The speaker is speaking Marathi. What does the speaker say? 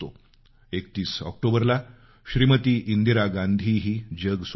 31 ऑक्टोबरला श्रीमती इंदिरा गांधीही जग सोडून गेल्या